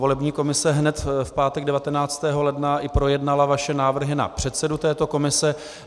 Volební komise hned v pátek 19. ledna projednala i vaše návrhy na předsedu této komise.